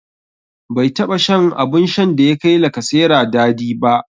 Bai taɓa shan abun shan da ya kai lacasera dadi ba.